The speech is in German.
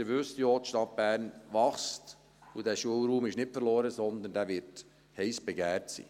Wie Sie ja wissen, wächst die Stadt Bern, und der Schulraum ist nicht verloren, sondern er wird heiss begehrt sein.